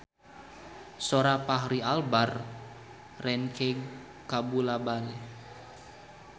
Sora Fachri Albar rancage kabula-bale